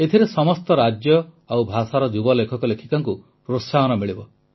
ଏଥିରେ ସମସ୍ତ ରାଜ୍ୟ ଓ ଭାଷାର ଯୁବ ଲେଖକଲେଖିକାଙ୍କୁ ପ୍ରୋତ୍ସାହନ ମିଳିବ